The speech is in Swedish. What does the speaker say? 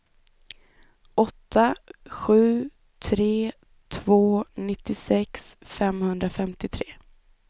åtta sju tre två nittiosex femhundrafemtiotre